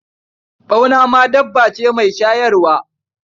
Ɓauna ma dabba ce mai shayarwa.